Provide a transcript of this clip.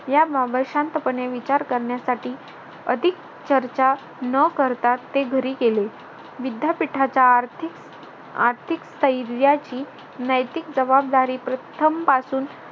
याबाबत शांतपणे विचार करण्यासाठी अधिक चर्चा न करता ते घरी गेले. विद्यापीठाचा आर्थिक आर्थिक स्थैर्याची नैतिक जबाबदारी प्रथम पासून